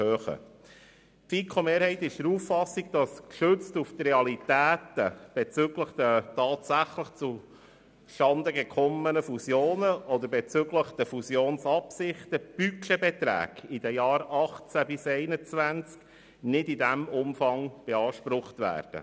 Die FiKo-Mehrheit ist der Auffassung, dass gestützt auf die Realitäten bezüglich der tatsächlich zustande gekommenen Fusionen oder bezüglich der Fusionsabsichten die Budgetbeträge für die Jahre 2018 bis 2021 nicht in diesem Umfang beansprucht werden.